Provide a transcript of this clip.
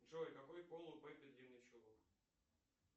джой какой пол у пеппи длинный чулок